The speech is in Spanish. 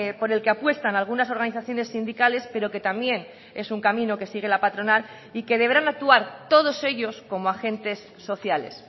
por el que apuestan algunas organizaciones sindicales pero que también es un camino que sigue la patronal y que deberán actuar todos ellos como agentes sociales